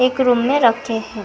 एक रूम में रखे हैं।